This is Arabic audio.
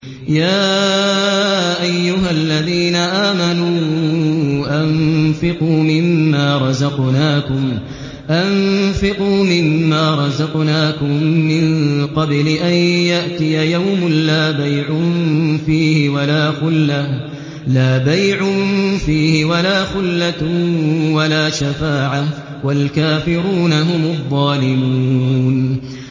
يَا أَيُّهَا الَّذِينَ آمَنُوا أَنفِقُوا مِمَّا رَزَقْنَاكُم مِّن قَبْلِ أَن يَأْتِيَ يَوْمٌ لَّا بَيْعٌ فِيهِ وَلَا خُلَّةٌ وَلَا شَفَاعَةٌ ۗ وَالْكَافِرُونَ هُمُ الظَّالِمُونَ